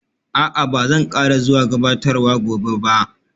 A'a, ba zan ƙara zuwa gabatarwar gobe ba